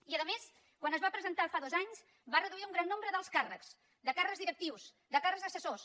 i a més quan es va presentar fa dos anys va reduir un gran nombre d’alts càrrecs de càrrecs directius de càrrecs assessors